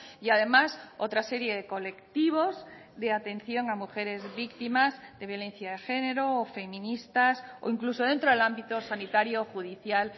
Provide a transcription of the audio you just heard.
y además otra serie de colectivos de atención a mujeres víctimas de violencia de género o feministas o incluso dentro del ámbito sanitario judicial